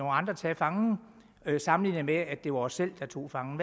andre tage fangen sammenlignet med at det var os selv der tog fangen